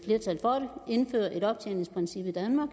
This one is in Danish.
indføre et optjeningsprincip i danmark